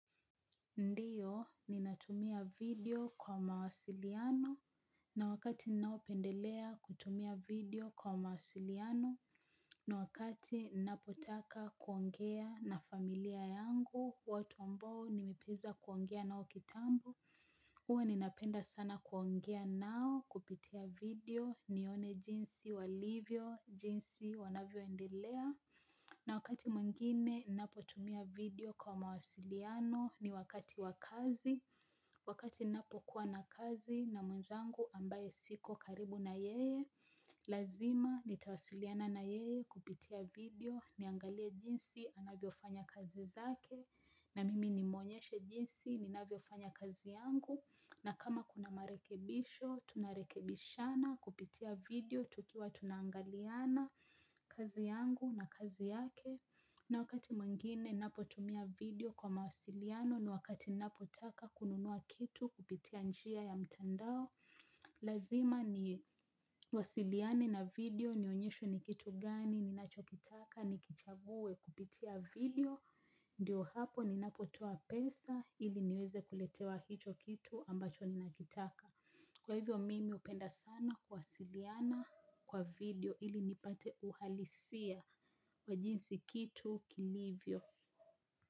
Ndiyo, ninatumia video kwa mawasiliano, na wakati ninao pendelea kutumia video kwa mawasiliano, na wakati napotaka kuongea na familia yangu, watu ambao nimiweza kuongea nao kitambo, uwa ninapenda sana kuongea nao kupitia video, nione jinsi walivyo, jinsi wanavyo endelea, na wakati mwingine napo tumia video kwa mawasiliano ni wakati wakazi, wakati napo kuwa na kazi na mwenzangu ambaye siko karibu na yeye, lazima nitawasiliana na yeye kupitia video niangalia jinsi anavyo fanya kazi zake na mimi nimuonyeshe jinsi ninavyo fanya kazi yangu na kama kuna marekebisho tunarekebishana kupitia video tukiwa tunaangaliana kazi yangu na kazi yake. Na wakati mwingine napotumia video kwa mawasiliano ni wakati napotaka kununua kitu kupitia njia ya mtandao. Lazima ni wasiliane na video nionyeshwe ni kitu gani ninachokitaka nikichague kupitia video. Ndio hapo ninapotoa pesa ili niweze kuletewa hicho kitu ambacho ninakitaka. Kwa hivyo mimi hupenda sana kuwasiliana kwa video ili nipate uhalisia ya jinsi kitu kilivyo.